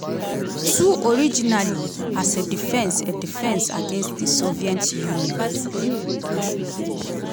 two originally as a defence a defence against di soviet union.